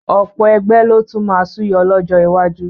Ọ̀pọ̀ ẹgbẹ́ ló tún máa súyọ lọ́jọ́ iwájú